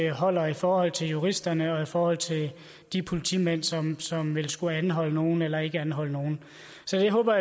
holder i forhold til juristerne og i forhold til de politimænd som som vil skulle anholde nogle eller ikke anholde nogle så jeg håber